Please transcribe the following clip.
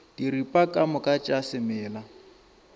diripa ka moka tša semela